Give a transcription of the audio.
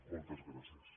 moltes gràcies